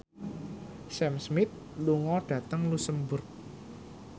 Sam Smith lunga dhateng luxemburg